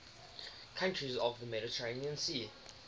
countries of the mediterranean sea